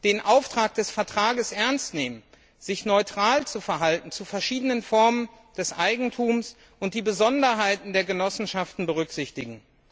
den Auftrag des Vertrages ernst nehmen, sich neutral zu verhalten zu verschiedenen Formen des Eigentums, und die Besonderheiten der Genossenschaften berücksichtigen.